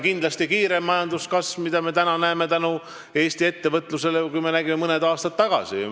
Praegu on majanduskasv kindlasti kiirem, tänu Eesti ettevõtlusele, kui see, mida me nägime mõned aastad tagasi.